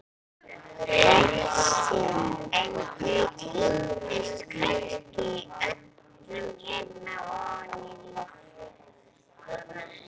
Hersir: en þau týndust kannski öll hérna ofan í, loforðin?